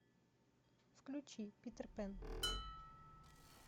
включи питер пэн